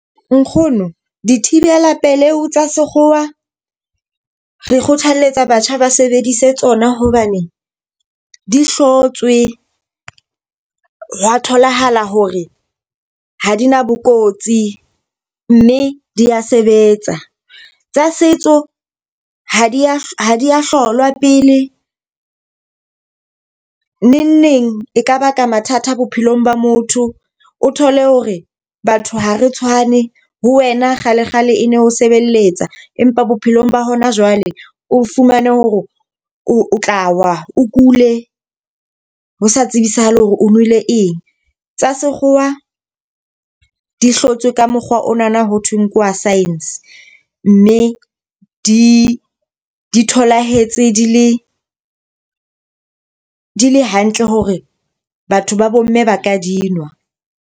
Nkgono, dithibela pelehi tsa sekgowa re kgothaletsa batjha ba sebedise tsona hobane di hlotswe, hwa tholahala hore ha di na bo kotsi, mme dia sebetsa. Tsa setso ha di a ha di a hlolwa pele. Neng neng e ka baka mathata bophelong ba motho. O thole hore batho ha re tshwane ho wena kgalekgale e ne ho sebeletsa, empa bophelong ba hona jwale o fumane hore o tla wa o kule, ho sa tsebisahale hore o nwele eng. Tsa sekgowa di hlotswe ka mokgwa onana ho thweng ke wa science mme di di tholahetse di le di le hantle hore batho ba bo mme ba ka di nwa.